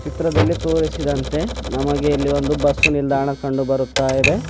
ಚಿತ್ರದಲ್ಲಿ ತೋರಿಸಿದಂತೆ ನಮಗೆ ಇಲ್ಲಿ ಒಂದು ಬಸ್ಸು ನಿಲ್ದಾಣ ಕಂಡು ಬರುತ್ತಾ ಇದೆ.